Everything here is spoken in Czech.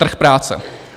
Trh práce.